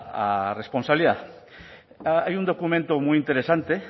a esa responsabilidad hay un documento muy interesante